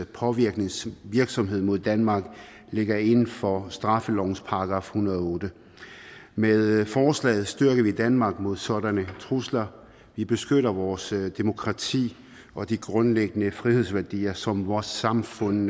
påvirkningsvirksomhed mod danmark ligger inden for straffelovens § en hundrede og otte med forslaget styrker vi danmark mod sådanne trusler vi beskytter vores demokrati og de grundlæggende frihedsværdier som vores samfund